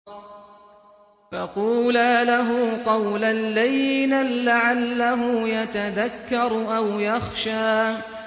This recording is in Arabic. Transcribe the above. فَقُولَا لَهُ قَوْلًا لَّيِّنًا لَّعَلَّهُ يَتَذَكَّرُ أَوْ يَخْشَىٰ